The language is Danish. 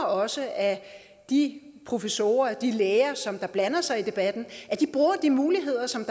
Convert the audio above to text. også at de professorer og de læger som blander sig i debatten bruger de muligheder som